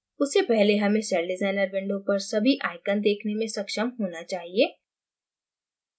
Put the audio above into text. उससे पहले हमें celldesigner window पर सभी icons देखने में सक्षम होना चाहिये